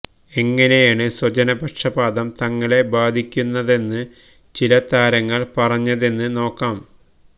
എങ്ങനെയാണ് സ്വജനപക്ഷ പാതം തങ്ങളെ ബാധിക്കുന്നതെന്ന് ചില താരങ്ങൾ പറഞ്ഞതെന്ന് നോക്കാം